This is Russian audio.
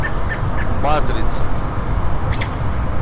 матрица